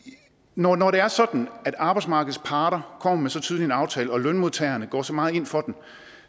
når når det er sådan at arbejdsmarkedets parter kommer med så tydelig en aftale og lønmodtagerne går så meget ind for den